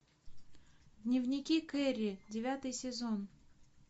дневники керри девятый сезон